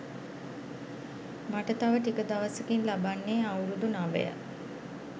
මට තව ටික දවසකින් ලබන්නේ අවුරුදු නවය.